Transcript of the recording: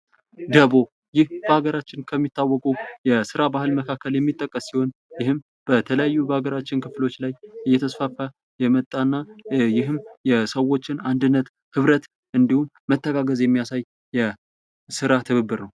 ደቦ ይህ በሀገራችን ከሚታወቁ የሥራ ባህል መካከል የሚጠቀስ ሲሆን ፤ ይህም በተለያዩ የአገራችን ክፍሎች ላይ እየተስፋፋ የመጣ እና ይህም የሰዎችን አንድነት፣ ኅብረት ፣ እንዲሁም መተጋገዝ የሚያሳይ ነው።